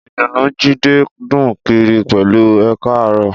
Ìdùnnú Jídé dún kiri pẹ̀lú Ẹ káàárọ̀